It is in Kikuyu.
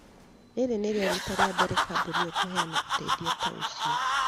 Rĩĩrĩ nĩrĩo riita rĩa mbere kambuni ĩyo kũheana ũteithio ta ũcio.